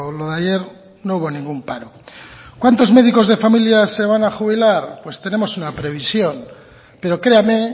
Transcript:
lo de ayer no hubo ningún paro cuántos médicos de familia se van a jubilar pues tenemos una previsión pero créame